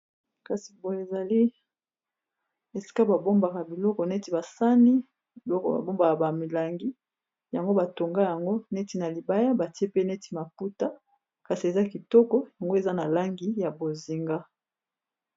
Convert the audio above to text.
Kasi boye ezali esika ba bombaka biloko neti basani, biloko ba bombaka ba milangi yango batonga yango neti na libaya batie pe neti maputa kasi eza kitoko yango eza na langi ya bozinga.